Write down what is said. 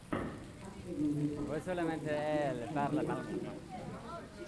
последний выпуск хоки стигг хоккей стигг